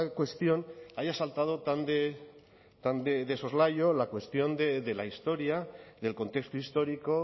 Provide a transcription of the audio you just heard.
cuestión haya saltado tan de soslayo la cuestión de la historia del contexto histórico